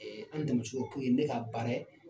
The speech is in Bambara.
An denmuso o ye ne ka baara ye